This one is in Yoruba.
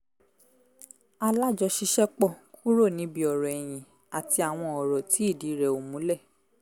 alájọṣiṣẹ́pọ̀ kúrò níbi ọ̀rọ̀ ẹ̀yin àti àwọn ọ̀rọ̀ tí ìdí rẹ̀ ò múlẹ̀